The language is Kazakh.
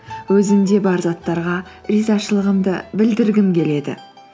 өзімде бар заттарға ризашылығымды білдіргім келеді